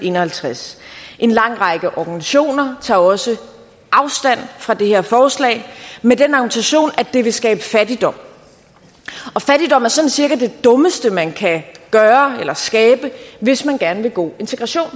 en og halvtreds en lang række organisationer tager også afstand fra det her forslag at det vil skabe fattigdom og fattigdom er sådan cirka det dummeste man kan skabe hvis man gerne vil god integration